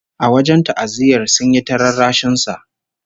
A wajen ta'aziyyar, sun yi ta rarrashin sa